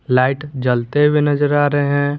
Light जलते हुए नजर आ रहे हैं।